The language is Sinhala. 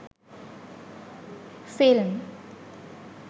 film